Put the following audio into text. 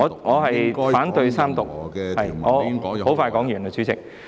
我反對三讀，我很快說完，主席。